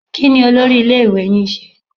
Kí ni olórí iléèwé yín ń ṣe?